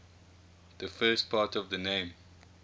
the first part of the name